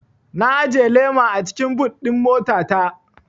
Na ajiye lema a cikin but ɗin mota ta